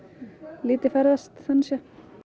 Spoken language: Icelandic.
lítið ferðast þannig séð